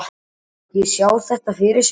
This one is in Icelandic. Má ekki sjá þetta fyrir sér?